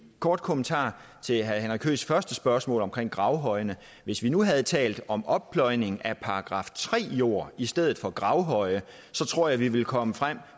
kort kommentar til herre henrik høeghs første spørgsmål om gravhøjene hvis vi nu havde talt om oppløjning af § tre jord i stedet for gravhøje tror jeg vi ville komme frem